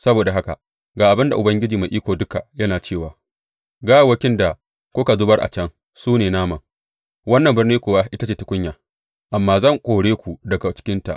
Saboda haka ga abin da Ubangiji Mai Iko Duka yana cewa gawawwakin da kuka zubar a can su ne naman, wannan birni kuwa ita ce tukunya, amma zan kore ku daga cikinta.